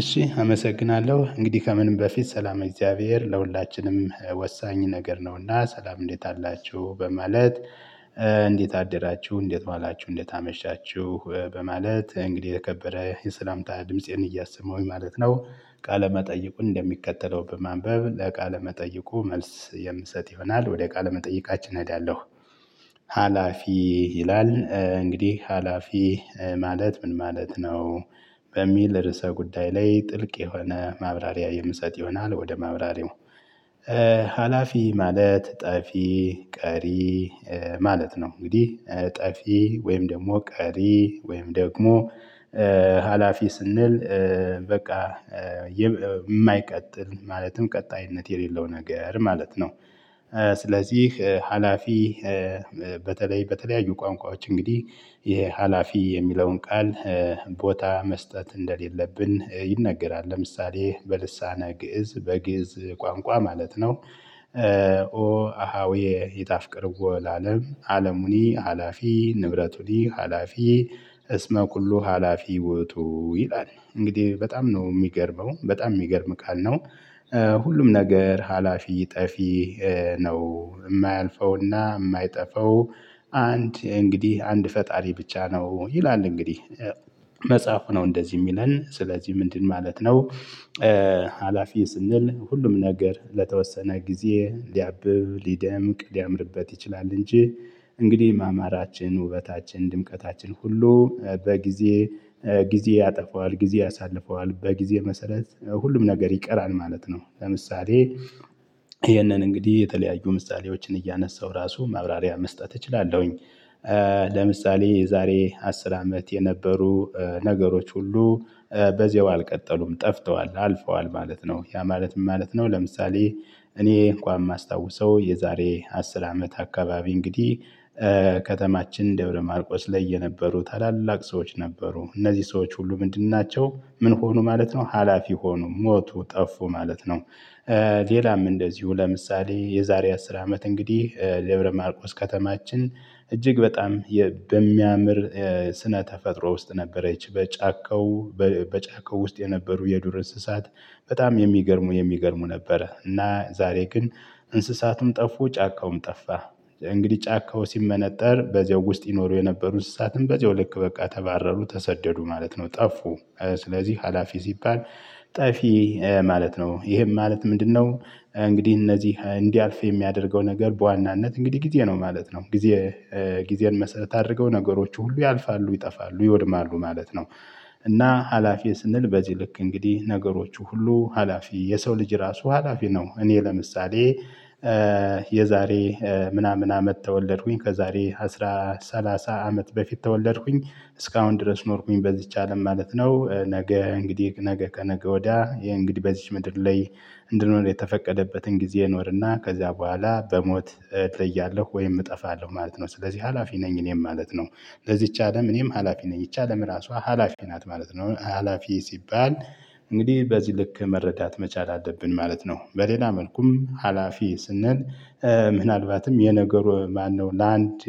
እሺ አመሰግናለሁ። እንግዲህ ከምንም በፊት ሰላም እግዚአብሔር ለሁላችንም ወሳኝ ነገር ነውና ሰላም እንዴት አላችሁ? በማለት እንዴት አደራችሁ? እንዴት ዋላችሁ? እንዴት አመሻችሁ? በማለት እንግዲህ የተከበረ የሰላምታ ድምፄን እያሰመውኝ ማለት ነው ቃለ መጠይቁን እንደሚከተለው በማንበብ ለቃለ መጠይቁ መልስ የምሰጥ ይሆናል፤ ወደ ቃለ መጠይቃችን እዳለሁ ሀላፊ ይላል እንግዲህ ሀላፊ ማለት ምን ማለት ነው? በሚል ርዕሰ ጉዳይ ላይ ጥልቅ የሆነ ማብራሪያ የምሰጥ ይሆናል ወደ ማብራሪያው ሀላፊ ማለት ጠፊ፣ ቀሪ ማለት ነው እንግዲህ ጠፊ ወይም ደግሞ ቀሪ ወይም ደግሞ ሀላፊ ስንል በቃ የማይቀጥል ማለትም ቀጣይነት የሌለው ነገር ማለት ነው። ስለዚህ ሀላፊ በተለይ በተለያዩ ቋንቋዎች እንግዲህ ይሄ ሀላፊ የሚለውን ቃል ቦታ መስጠት እንደሌለብን ይነገራል። ለምሳሌ በልሳነ ግእዝ በግእዝ ቋንቋ ማለት ነው አሃዌ ይጣፍቅርው ለአለም አለሙኒ ሀላፊ ንብረቱኒ ሀላፊ እስመ ቁሉ ሀላፊ ወጡ ይላል። እንግዲህ በጣም ነው የሚገርመው በጣም የሚገርም ቃል ነው ሁሉም ነገር ሀላፊ፣ ጠፊ ነው። የማያልፈውና የማይጠፋው አንድ እንግዲህ አንድ ፈጣሪ ብቻ ነው። ይላል እንግዲህ መጽሐፉ ነው እንደዚህ የሚለን ስለዚህ ምንድን ማለት ነው ሀላፊ ስንል ሁሉም ነገር ለተወሰነ ጊዜ ሊያብብ፣ ሊደምቅ፣ ሊያምርበት ይችላል እንጂ እንግዲህ ማማራችን፣ ውበታችን፣ ድምቀታችን ሁሉ በጊዜ ጊዜ ያጠፋዋል፤ ጊዜ ያሳልፈዋል፤ በጊዜ መሰረት ሁሉም ነገር ይቀራል ማለት ነው። ለምሳሌ ይሄንን እንግዲህ የተለያዩ ምሳሌዎችን እያነሳሁ ራሱ ማብራሪያ መስጠት እችላለሁኝ ለምሳሌ የዛሬ አስር አመት የነበሩ ነገሮች ሁሉ በዚያው አልቀጠሉም ጠፍተዋል፣ አልፈዋል ማለት ነው። ያ ማለት ምን ማለት ነው ለምሳሌ እኔ እንኳን የማስታውሰው የዛሬ አስር አመት አካባቢ እንግዲህ ከተማችን ደብረ ማርቆስ ላይ የነበሩ ታላላቅ ሰዎች ነበሩ። እነዚህ ሰዎች ሁሉ ምንድን ናቸው? ምን ሆኑ ማለት ነው? ሀላፊ ሆኑ ሞቱ፣ ጠፉ ማለት ነው ሌላም እንደዚሁ ለምሳሌ የዛሬ አስር አመት እንግዲህ ደብረ ማርቆስ ከተማችን እጅግ በጣም በሚያምር ስነ ተፈጥሮ ውስጥ ነበረች። በጫካው በጫካው ውስጥ የነበሩ የዱር እንስሳት በጣም የሚገርሙ የሚገርሙ ነበር እና ዛሬ ግን እንስሳቱም ጠፉ ጫካውም ጠፋ እንግዲህ ጫካው ሲመነጠር በዚያው ውስጥ ይኖሩ የነበሩ እንስሳትም በዚያው ልክ በቃ ተባረሩ ተሰደዱ ማለት ነው። ጠፉ ስለዚህ ሀላፊ ሲባል ጠፊ ማለት ነው። ይሄም ማለት ምንድነው እንግዲህ እነዚህ እንዲያልፍ የሚያደርገው ነገር በዋናነት እንግዲህ ጊዜ ነው ማለት ነው። ጊዜ ጊዜን መስረት አድርገው ነገሮች ሁሉ ያልፋሉ፣ ይጠፋሉ፣ ይወድማሉ ማለት ነው። እና ሀላፊ ስንል በዚህ ልክ እንግዲህ ነገሮች ሁሉ ሀላፊ የሰው ልጅ እራሱ ሀላፊ ነው። እኔ ለምሳሌ የዛሬ ምናምን አመት ተወለድኩኝ ከዛሬ አስራ ሰላሳ አመት በፊት ተወለድኩኝ እስካሁን ድረስ ኖርኩኝ በዚች አለም ማለት ነው። ነገ እንግዲህ ነገ ከነገ ወዲያ ይሄ እንግዲህ በዚች ምድር ላይ እንድንሆን የተፈቀደበትን ጊዜ ይኖርና ከዚያ በኋላ በሞት እለያለሁ ወይም እጠፋለሁ ማለት ነው። ስለዚህ ሀላፊ ነኝ እኔም ማለት ነው። ለዚች አለም እኔም ሀላፊ ነኝ ይች አለም እራሷ ሀላፊ ናት ማለት ነው። ሀላፊ ሲባል እንግዲህ በዚህ ልክ መረዳት መቻል አለብን ማለት ነው። በሌላ መልኩም ሀላፊ ስንል ምናልባትም የነገሩ ማነው ለአንድ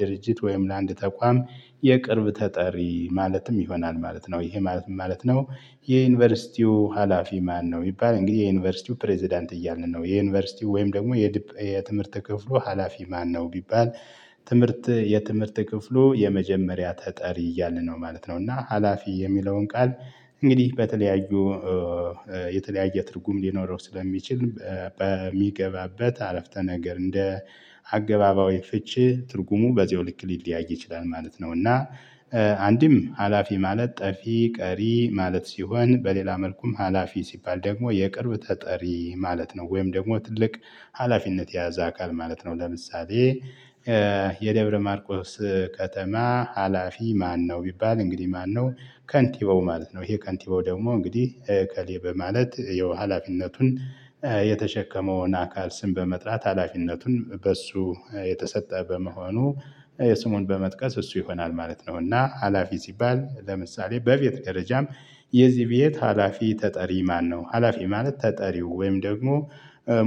ድርጅት ወይም ለአንድ ተቋም የቅርብ ተጠሪ ማለትም ይሆናል ማለት ነው። ይሄ ማለት ምን ማለት ነው የዩኒቨርሲቲው ሀላፊ ማነው ቢባል እንግዲህ የዩኒቨርሲቲው ፕሬዝዳንት እያልን ነው የዩኒቨርሲቲው ወይም ደግሞ የትምህርት ክፍሉ ሀላፊ ማነው ቢባል ትምህርት የትምህርት ክፍሉ የመጀመሪያ ተጠሪ እያልን ነው ማለት ነው እና ሀላፊ የሚለውን ቃል እንግዲህ በተለያዩ የተለያየ ትርጉም ሊኖረው ስለሚችል በሚገባበት አረፍተ ነገር እንደ አገባባዊ ፍቺ ትርጉሙ በዚሁ ልክ ሊለያይ ይችላል ማለት ነው። እና አንድም ሀላፊ ማለት ጠፊ፣ ቀሪ ማለት ሲሆን በሌላ መልኩም ሀላፊ ሲባል ደግሞ የቅርብ ጠጠሪ ማለት ነው ወይም ደግሞ ትልቅ ሀላፊነት የያዘ አካል ማለት ነው። ለምሳሌ የደብረ ማርቆስ ከተማ ሀላፊ ማነው ቢባል እንግዲህ ማነው ከንቲቦው ማለት ነው። ይሄ ከንቲባው ደግሞ እንግዲህ ኤከሌ በማለት ያው ሀላፊነቱን የተሸከመውን አካል ስም በመጥራት ሀላፊነቱን በእሱ የተሰጠ በመሆኑ ስሙን በመጥቀስ እሱ ይሆናል ማለት ነው እና ሀላፊ ሲባል ለምሳሌ በቤት ደረጃም የዚህ ቤት ሀላፊ ተጠሪ ማነው ሀላፊ ማለት ተጠሪው ወይም ደግሞ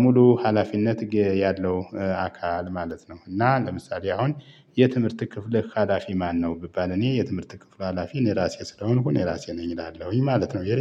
ሙሉ ሀላፊነት ያለው አካል ማለት ነው እና ለምሳሌ አሁን የትምህርት ክፍለ ሀላፊ ማነው ቢባል እኔ የትምህርት ክፍል ሀላፊ እኔ ራሴ ስለሆንኩ እኔ ራሴ ነኝ እላለሁኝ ማለት ነው